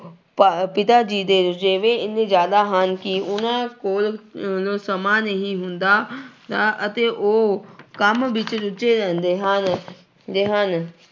ਪ ਪਿਤਾ ਜੀ ਦੇ ਰੁਝੇਵੇ ਇੰਨੇ ਜ਼ਿਆਦਾ ਹਨ ਕਿ ਉਹਨਾਂ ਕੋਲ ਅਹ ਸਮਾਂ ਨਹੀਂ ਹੁੰਦਾ ਅਹ ਅਤੇ ਉਹ ਕੰਮ ਵਿੱਚ ਰੁੱਝੇ ਰਹਿੰਦੇ ਹਨ ਦੇ ਹਨ